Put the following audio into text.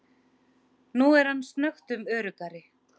Nú er hann snöggtum öruggari.